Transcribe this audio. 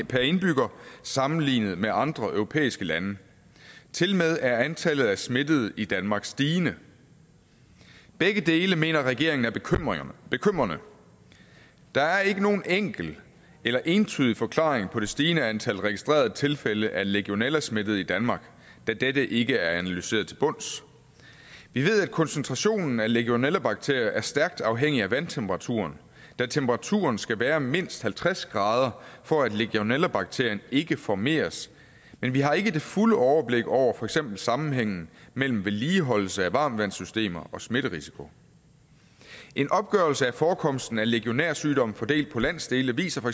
per indbygger sammenlignet med andre europæiske lande tilmed er antallet af smittede i danmark stigende begge dele mener regeringen er bekymrende der er ikke nogen enkel eller entydig forklaring på det stigende antal registrerede tilfælde af legionellasmittede i danmark da dette ikke er analyseret til bunds vi ved at koncentrationen af legionellabakterier er stærkt afhængig af vandtemperaturen da temperaturen skal være mindst halvtreds grader for at legionellabakterien ikke formeres men vi har ikke det fulde overblik over for eksempel sammenhængen mellem vedligeholdelse af varmtvandssystemer og smitterisiko en opgørelse af forekomsten af legionærsygdommen fordelt på landsdele viser